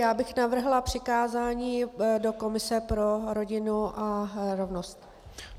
Já bych navrhla přikázání do komise pro rodinu a rovnost.